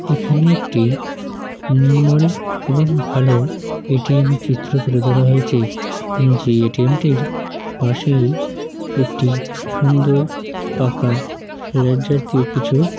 এখানে একটি নির্মল এবং ভালো এ. টি. এম এর চিত্র তুলে ধরা হয়েছে যে এ. টি. এম টির পাশেই একটি সুন্দর পাখা লাইট জাতীয় কিছু।